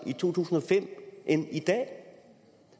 end i dag